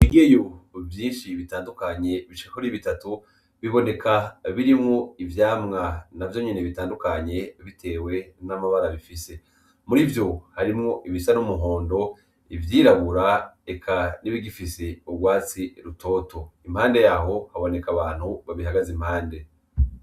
Bigiyo vyinshi bitandukanye bicekori bitatu biboneka birimwo ivyamwa na vyo nyene bitandukanye, bitewe n'amabara bifise muri vyo harimwo ibisa n'umuhondo ivyirabura eka n'ibigifise urwatsi rutoto impande yaho haboneka abantu babihagaza impande.